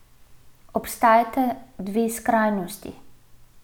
Obstajata dve skrajnosti.